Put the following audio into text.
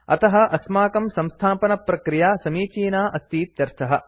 अतः अस्माकं संस्थापनप्रक्रिया समीचीना अस्तीत्यर्थः